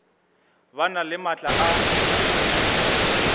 ba na le maatla a